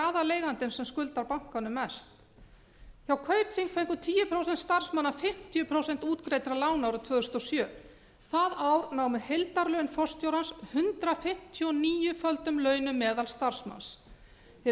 það ekki aðaleigandinn sem skuldar bankanum mest hjá kaupþingi fengu tíu prósent starfsmanna fimmtíu prósent útgreiddra lána árið tvö þúsund og sjö það ár námu heildarlaun forstjórans hundrað fimmtíu og níu földum launum meðalstarfsmanns hið